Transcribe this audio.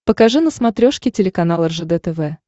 покажи на смотрешке телеканал ржд тв